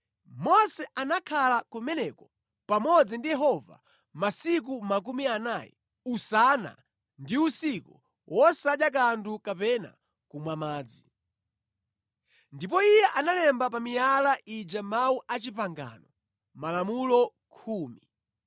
Mose anakhala kumeneko pamodzi ndi Yehova masiku 40, usana ndi usiku, wosadya kanthu kapena kumwa madzi. Ndipo iye analemba pa miyala ija mawu a pangano, malamulo khumi.